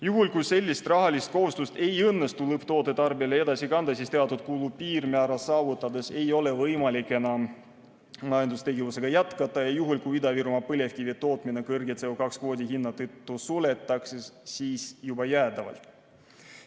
Juhul, kui sellist rahalist kohustust ei õnnestu lõpptoote tarbijale edasi kanda, siis teatud kulupiirmäära saavutades ei ole võimalik enam majandustegevusega jätkata ja juhul, kui Ida-Virumaa põlevkivi tootmine CO2 kvoodi kõrge hinna tõttu suletakse, siis juba jäädavalt.